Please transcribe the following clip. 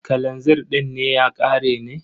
Kalazir din ne ya ƙare ne?